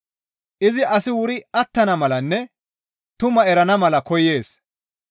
Izi asi wuri attana malanne tumaa erana mala koyees.